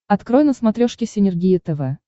открой на смотрешке синергия тв